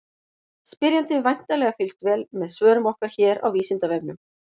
Spyrjandi hefur væntanlega fylgst vel með svörum okkar hér á Vísindavefnum.